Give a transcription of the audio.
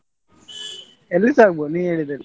ಎಲ್ಲಿಸ ಆಗ್ಬಹುದು ನೀ ಹೇಳಿದಲ್ಲಿ.